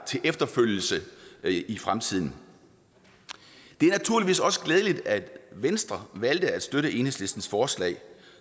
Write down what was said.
til efterfølgelse i i fremtiden det er naturligvis også glædeligt at venstre har valgt at støtte enhedslistens forslag